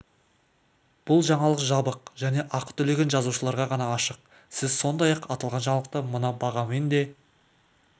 бұл жаңалық жабық және ақы төлеген жазылушыларға ғана ашық сіз сондай-ақ аталған жаңалықты мына бағамен де